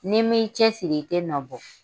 N'i mi cɛsiri i te nabɔ.